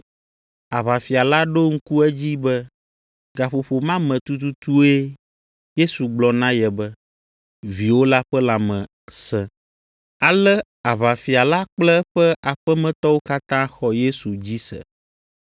Aʋafia la ɖo ŋku edzi be gaƒoƒo ma me tututue Yesu gblɔ na ye be, “Viwò la ƒe lãme sẽ.” Ale aʋafia la kple eƒe aƒemetɔwo katã xɔ Yesu dzi se.